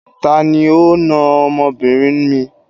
Tani ó na ọmọbìnrin mi?